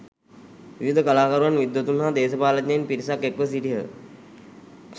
විවිධ කලාකරුවන් විද්වතුන් හා දේශපාලනඥයින් පිරිසක් එක්ව සිටියහ.